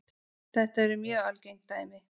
Þetta eru mjög algeng dæmi.